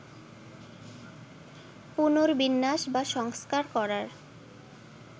পুনর্বিন্যাস বা সংস্কার করার